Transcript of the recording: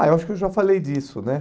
Ah, eu acho que eu já falei disso, né?